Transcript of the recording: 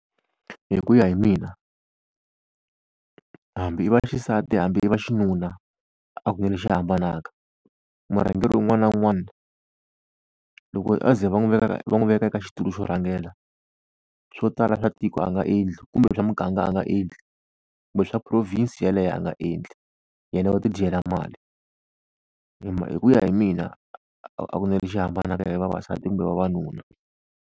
Hi ku ya hi mina hambi i vaxisati hambi i vaxinuna, a ku na lexi hambanaka. Murhangeri un'wana na un'wana loko a ze va n'wi veka ka va n'wi veka eka xitulu xo rhangela swo tala swa tiko a nga endli, kumbe swa muganga a nga endli, kumbe swa province yaleyo a nga endli yena u ti dyela mali. Hi ku ya hi mina a ku na lexi hambanaka hi vavasati kumbe vavanuna.